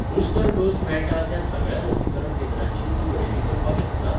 Booster dose मेळटा त्या सगळ्या लसीकरण केंद्रांची तूं वळेरी करपाक शकता?